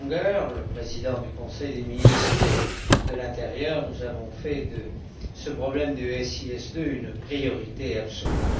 Langer, le président du Conseil des ministres de l'intérieur, nous avons fait de ce problème du SIS II une priorité absolue.